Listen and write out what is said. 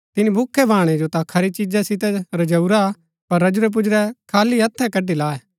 तिनी भूखै भाणै जो ता खरी चीजा सितै रजेरूआ पर रजुरै पूजुरै खाली हथै कड्ड़ी लायै